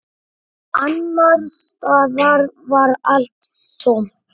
Annars staðar var allt tómt.